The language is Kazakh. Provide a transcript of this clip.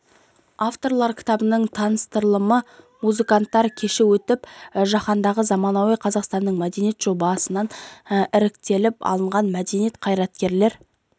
авторлар кітабының таныстырылымы музыканттар кеші өтіп жаһандағы заманауи қазақстандық мәдениет жобасынан іріктеліп алынған мәдениет қайраткерлер